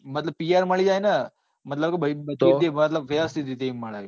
મતલબ PR મળી જાય નાં મતલબ જે બધું વ્યવસ્થિત રીતે એમ મળે.